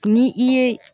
Ni i ye